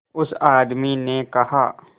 उस आदमी ने कहा